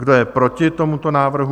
Kdo je proti tomuto návrhu?